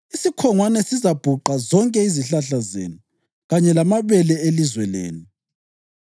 Isikhongwane sizabhuqa zonke izihlahla zenu kanye lamabele elizwe lenu.